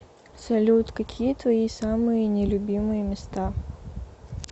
салют какие твои самые не любимые места